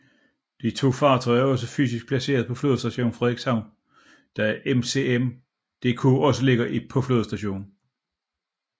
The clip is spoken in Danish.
De to fartøjer er også fysisk placeret på Flådestation Frederikshavn da MCM DK også ligger i på flådestationen